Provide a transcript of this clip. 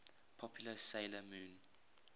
popular 'sailor moon